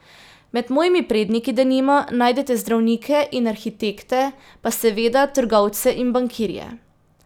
Med mojimi predniki, denimo, najdete zdravnike in arhitekte pa, seveda, trgovce in bankirje.